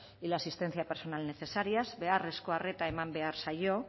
y la asistencia personal necesarias beharrezko arreta eman behar zaio